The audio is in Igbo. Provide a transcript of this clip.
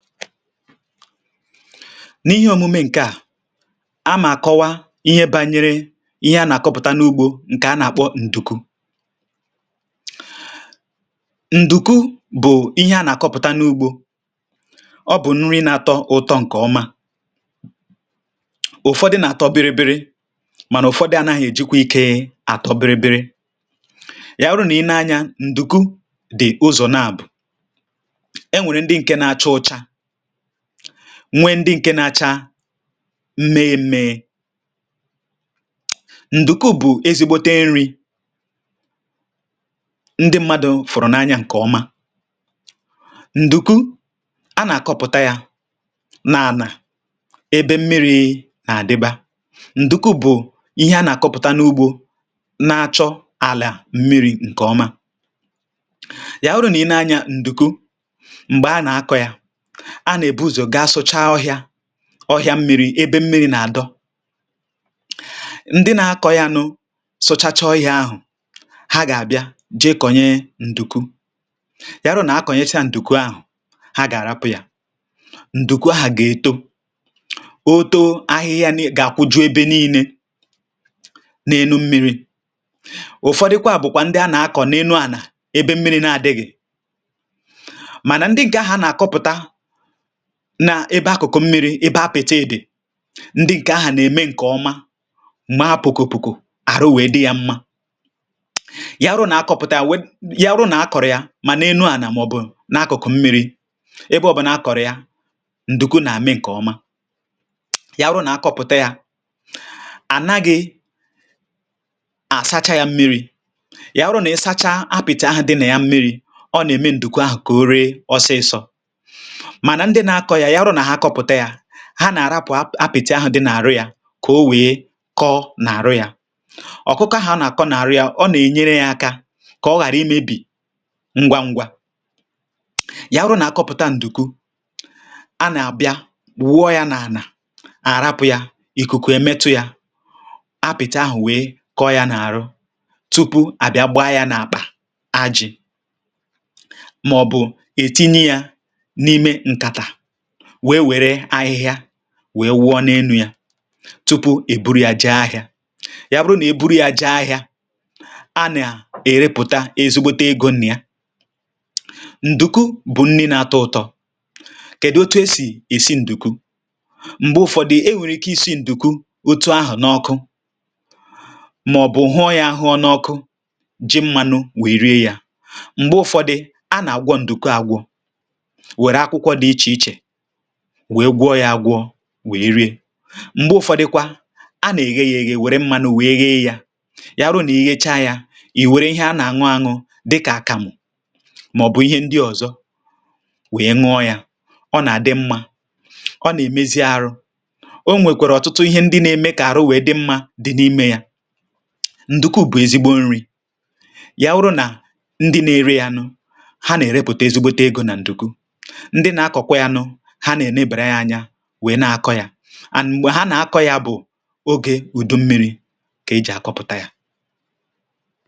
Ihe a e ji na-akọwa, bụ̀ otu e si akùpụ̀tà ndùku. um Ndùku bụ ihe ubi a na-akụ n’ala ubi. Ọ bụ nri dị ụtọ, ma e nwere ụdị dị iche iche ya. Ụfọdụ nà-atọ ụtọ nke ukwuu, um ebe ụfọdụ adịghị atụ ụtọ otú ahụ̀, dabere n’ụdị ya na otu e si akùpụ̀tà ya. Ndùku bụ ihe ndị mmadụ hụrụ n’anya iri. Ọ na-eto nke ọma n’ebe mmiri dị. Nke a bụ n’ihi na ndùku na-eto nke ọma n’ala mmiri. Tupu ị kụọ ndùku, onye ugbo ga-ebido site n’ị sachapụ̀ ọhịa na ahịhịa n’ala. um Ndị nà-akụ ya na-ejikarị sachapụ̀ ala, gwuo ya, kwụọ ya nke ọma tupu ha kụọ. Mgbe ahụ̀, ha na-eme obere ndukwu ma ọ bụ akàrà n’ala, ma kụọ nkịta ndùku n’usoro. Mgbe e kụchara ya, onye ugbo na-ahapụ̀ ya ka ọ too. um Ka ọ na-eto, ọ na-agbasapụ̀ n’elu ala ma kpuchie ala niile site n’akwụkwọ ndụ ya. Ụfọdụ ndị na-akụ ndùku n’ala ndị dị elu ebe mmiri adịghị ọtụtụ, ma nke kacha mma na-apụta n’ebe ala dị mmiri. Mgbe ndùku na-eto nke ọma, akwụkwọ ndụ ya na-acha akwụkwọ ndụ nke ọma ma dị mma. um Ọ bụrụ na ala sie ike ma ọ bụ dịghị mmiri, ọkà ahụ agaghị eto nke ọma. Ya mere, mgbe ị na-akụ ndùku, ị ga-ahụ̀ na ala ahụ̀ dị nro, dị ụtọ, ma nwee mmiri zuru ezu. Mgbe ụfọdụ, mgbe a kpọpụ̀chara ndùku, um a na-asa ya n’ime mmiri dị ọcha. Ụfọdụ ndị ọrụ ubi anaghị asa ya ozugbo; ha na-ahapụ̀ ya ka o nọọ ntakịrị ka o kpoo tupu a sā ya. Nke a na-enyere ya aka ka ọ ghara ire ngwa ngwa. Mgbe a kpọpụ̀chara ya, a na-awụpụ̀ ndùku ahụ n’ala ka ikuku metụ̀ ya. um Ikuku na-enyere aka ịkụcha mgbọrọgwụ ahụ nke ọma. Mgbe e mesịrị, a na-etinye ya n’ime akpa ma ọ bụ basket, kpuchie ya na ahịhịa, wee buru ya gaa ahịa. Mgbe e rere ya n’ahịa, ndùku na-eweta ezigbo ego nye ndị na-akụ ya. Ọ bụ ihe ubi bara uru nke ukwuu. Ugbu a, kedụ̀ ka ndị mmadụ si esi ndùku? Ụfọdụ na-esi ya n’ime mmiri, um ebe ụfọdụ na-ere ya n’ọkụ ma rie ya na mmanụ̀ Ụfọdụ na-esi ya na mmanụ̀ na nnu, ebe ụfọdụ ndị ọzọ na-aghee ya n’ime mmanụ̀ ruo mgbe ọ gbarachara ma bụrụ crispy. N’ụlọ ụfọdụ, ndị mmadụ na-eri ndùku ọnụ na ihe a na-aṅụ dị ka àkàmụ̀ ma ọ bụ nri ndị ọzọ. um Ọ na-atọ ụtọ nke ukwuu, ma na-enyekwa ahụ ike. Ndùku nwere ọtụtụ ihe na-eme ka ahụ dị ike ma nwee ume. Ọ bụ ezigbo nri na-enye ike n’ahụ. Ndị na-ere ya n’ahịa na-enweta ezigbo uru n’ihi ya, um n’ihi na ọ bụ ihe ndị mmadụ na-achọ mgbe niile. Ụtụtụ ndị mmadụ na-akụ ma na-akọpụ̀ta ndùku n’oge mmiri, n’ihi na nke ahụ bụ oge kacha mma iji kụọ ya.